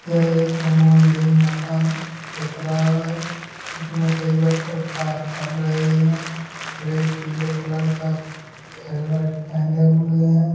यह एक निर्माण मकान दिख रहा है इसमें कई वर्कर कार्य कर रहे हैं एक पीले कलर का हेलमेंट पेहने हुए है।